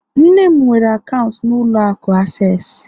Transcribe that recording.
nne m nwere akaụntụ na ụlọ akụ Accessi